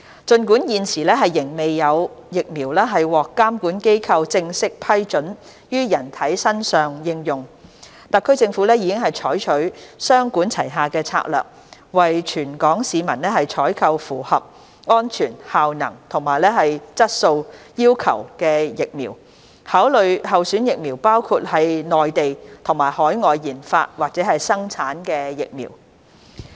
儘管現時仍未有疫苗獲監管機構正式批准於人體身上應用，特區政府已採取雙管齊下的策略，為全港市民採購符合安全、效能和質素要求的疫苗，考慮的候選疫苗包括內地及海外研發或生產的疫苗。